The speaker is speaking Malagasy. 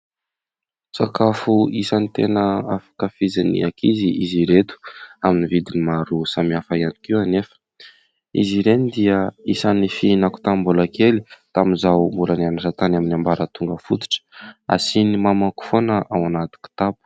Sakafo isan'ny tena ankafizin'ny ankizy izy ireto, amin'ny vidiny maro samihafa ihany koa anefa. Izy ireny dia isan'ny fihinako tamin'ny mbola kely tamin'izaho mbola nianatra tany amin'ny ambaratonga fototra ; asian'ny mamako foana ao anaty kitapo.